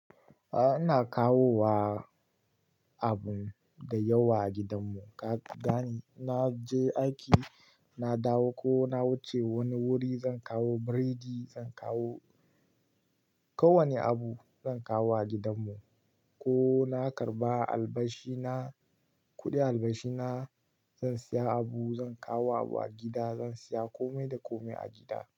A'a ina kawo wa abun da yawa a gidan mu. Ka gane? Na je aiki na dawo ko na wuce wani wuri zan kawo biredi, zan kawo kowane abu zan kawo a gidan mu. Ko na karɓa albashi na, kuɗin albashi na zan siya abu zan kawo abu a gida, zan siya kome da kome a gida.